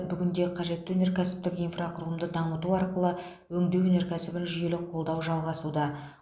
бүгінде қажетті өнеркәсіптік инфрақұрылымды дамыту арқылы өңдеу өнеркәсібін жүйелі қолдау жалғасуда